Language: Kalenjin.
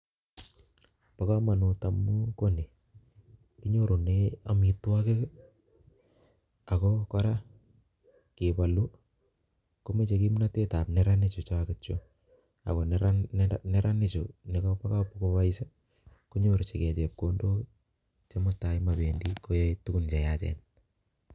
Bo komonut amun kinyorunen amitwogiik I,ak kora keboluu komoche kimnotet ab neranik, neraanik chuchoketchu, Ak neranik ingobois konyorchingeichepkondok koen tai komobendii koyai tuguun cheyaachen